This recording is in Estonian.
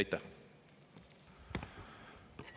Aitäh!